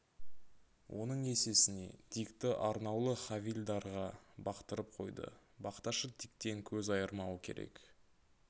оның есесіне дикті арнаулы хавильдарға бақтырып қойды бақташы диктен көз айырмауы керек